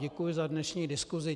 Děkuji za dnešní diskusi.